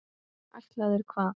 Ætlaðir hvað?